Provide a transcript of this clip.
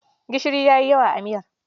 Gishiri ya yi yawa a miyar.